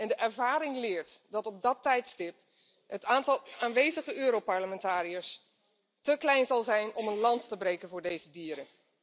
De ervaring leert dat op dat tijdstip het aantal aanwezige Europarlementariërs te klein zal zijn om een lans te breken voor deze dieren.